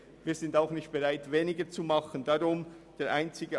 Wir sind aber auch nicht bereit, weniger zu sparen.